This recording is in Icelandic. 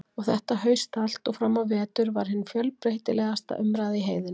Og þetta haust allt og fram á vetur var hin fjölbreytilegasta umræða í heiðinni.